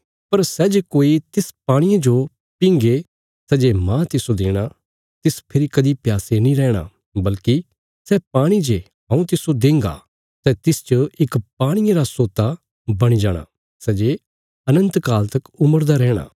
पर सै जे कोई तिस पाणिये जो पींगे सै जे माह तिस्सो देणा तिस फेरी कदीं प्यासे नीं रैहणां बल्कि सै पाणी जे हऊँ तिस्सो देंगा सै तिसच इक पाणिये रा सोता बणी जाणा सै जे तिस्सो अनन्त जीवन देंगा